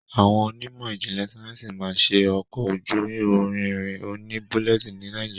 Awọn Onímò ijinle Sáyẹnsì ma ṣe ọkọ ojú ìrìn òní bulleti ní nàìjíría.